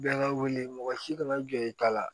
Bɛɛ ka wele mɔgɔ si kana jɔ i ta la